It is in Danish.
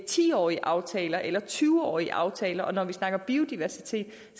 ti årige aftaler eller tyve årige aftaler og når vi snakker biodiversitet